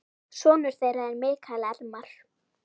Sonur þeirra er Mikael Elmar.